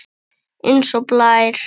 Eins og blær.